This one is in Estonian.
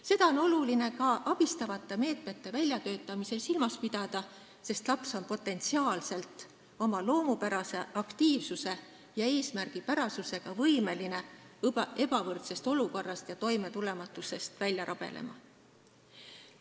Seda on oluline ka abistavate meetmete väljatöötamisel silmas pidada, sest laps on potentsiaalselt, oma loomupärase aktiivsuse ja eesmärgipärasusega võimeline ebavõrdsuse olukorrast ja toimetulematusest välja rabelema.